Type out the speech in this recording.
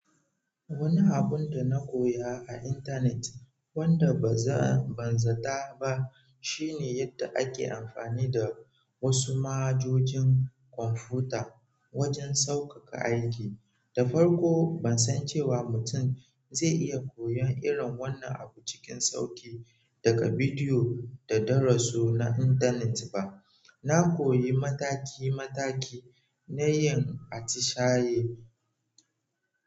Wani abun da na koya a internet wanda ba zan ban zata ba shine yadda ake amfani da wasu manhajojin kwamfuta wajen sauƙaƙa aiki. Da farko ban san cewa mutum zai iya koyon irin wannan abu cikin sauki daga bidiyo da darasu na internet ba. Na koyi mataki mataki na yin atishaye.